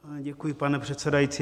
Děkuji, pane předsedající.